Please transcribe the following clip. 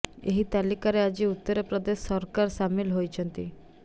ଏହି ତାଲିକାରେ ଆଜି ଉତ୍ତର ପ୍ରଦେଶ ସରକାର ସାମିଲ ହୋଇଛନ୍ତି